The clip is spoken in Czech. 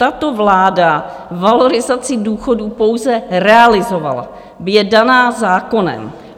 Tato vláda valorizaci důchodů pouze realizovala, je daná zákonem.